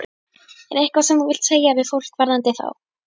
Er eitthvað sem þú vilt segja við fólk varðandi þá?